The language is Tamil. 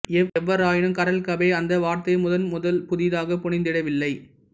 எவ்வாறாயினும் கரேல் கபேக் அந்த வார்த்தையை முதன்முதல் புதிதாக புனைந்திடவில்லை